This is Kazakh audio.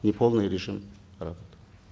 неполный режим работы